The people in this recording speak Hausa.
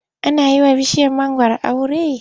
Ana yi wa bishiyar mangwaro aure.